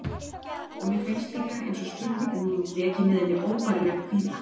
Og mér finnst líka einsog spurning mín veki með henni óbærilegan kvíða.